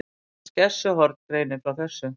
Skessuhorn greinir frá þessu